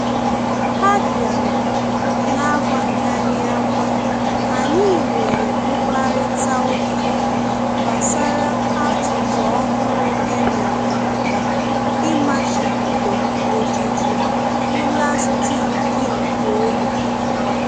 Ha bịara na-agwaghị anyị agwa, anyị nwere mkparịta ụka gbasara atụtụ ọhụrụ e mere maka ịmachibido ojiji pụlastiki nke ogbe